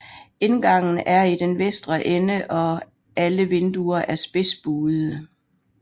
Indgangen er i den vestre ende og alle vinduer er spidsbuede